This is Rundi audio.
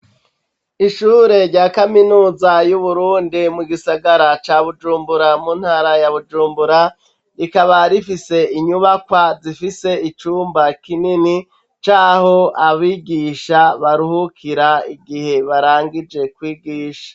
Ishure rya kaminuza y'Uburundi, mu gisagara ca Bujumbura, mu ntara ya Bujumbura; rikaba rifise inyubakwa, zifise icumba kinini, c'aho abigisha baruhukira, igihe barangije kwigisha.